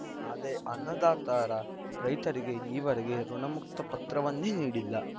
ಅದೇ ಅನ್ನದಾತರ ರೈತರಿಗೆ ಈವರೆಗೆ ಋುಣಮುಕ್ತ ಪತ್ರವನ್ನೇ ನೀಡಿಲ್ಲ